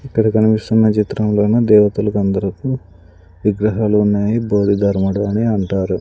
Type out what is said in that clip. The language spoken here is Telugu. ఇక్కడ కనిపిస్తున్న చిత్రంలోన దేవతలకందరికీ విగ్రహాలు ఉన్నాయి బోదిధర్ముడు అని అంటారు.